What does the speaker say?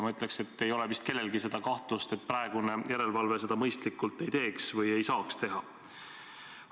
Ma ütleks, et ei ole vist kellelgi kahtlust, et praegune järelevalve seda mõistlikult ei teeks või ei saaks teha.